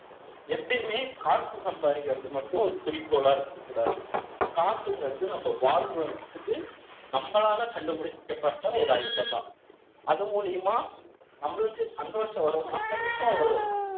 எப்பயுமே, காசு சம்பாதிக்கிறது மட்டும், ஒரு குறிக்கோளா இருக்கக் கூடாது. காசுங்கிறது, நம்ம வாழ்றதை விட்டுட்டு, நம்மளால கண்டுபிடிக்கப்பட்ட, ஒரு அழுத்தம்தான் அது மூலியமா, நம்மளுக்கு சந்தோஷம் வரும்னா, கண்டிப்பா வரும்.